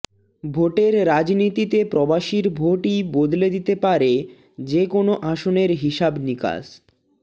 ভোটের রাজনীতিতে প্রবাসীর ভোটই বদলে দিতে পারে যে কোন আসনের হিসাব নিকাশ